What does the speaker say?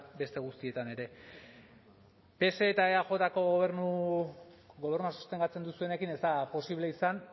beste guztietan ere pse eta eajko gobernu sostengatzen duzuenekin ez da posible izan